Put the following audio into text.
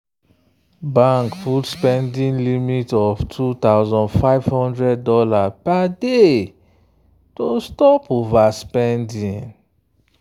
bank put spending limit of $2500 per day to stop overspending.